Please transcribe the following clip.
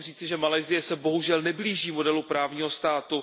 Musím říci, že Malajsie se bohužel neblíží modelu právního státu.